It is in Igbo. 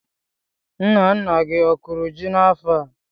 Nna nna gị a kọrọ ji n'afọ a?